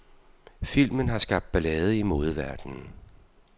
Filmen har skabt ballade i modeverdenen.